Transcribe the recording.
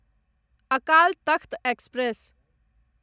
Akal Takht express